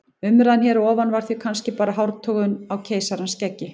Umræðan hér að ofan var því kannski bara hártogun á keisarans skeggi.